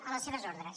a les seves ordres